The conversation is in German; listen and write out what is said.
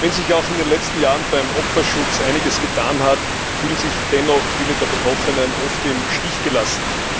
Wenn sich auch in den letzten Jahren beim Opferschutz einiges getan hat, fühlen sich dennoch viele der Betroffenen oft im Stich gelassen.